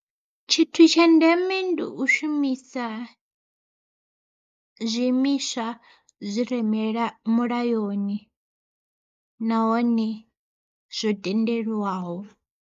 Tshithu tsha ndeme ndi u shumisa zwi imiswa zwire mila mulayoni nahone zwo tendeliwaho.